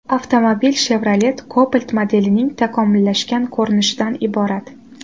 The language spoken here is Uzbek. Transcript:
Avtomobil Chevrolet Cobalt modelining takomillashgan ko‘rinishidan iborat.